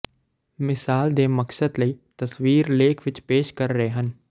ਮਿਸਾਲ ਦੇ ਮਕਸਦ ਲਈ ਤਸਵੀਰ ਲੇਖ ਵਿਚ ਪੇਸ਼ ਕਰ ਰਹੇ ਹਨ